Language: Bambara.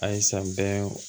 A ye san bɛɛ